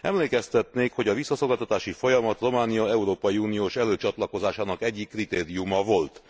Emlékeztetnék, hogy a visszaszolgáltatási folyamat Románia európai uniós előcsatlakozásának egyik kritériuma volt.